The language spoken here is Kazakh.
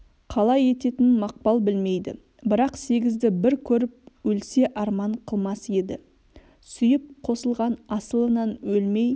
қалай ететінін мақпал білмейді бірақ сегізді бір көріп өлсе арман қылмас еді сүйіп қосылған асылынан өлмей